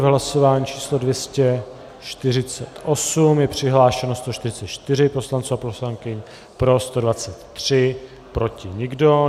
V hlasování číslo 248 je přihlášeno 144 poslanců a poslankyň, pro 123, proti nikdo.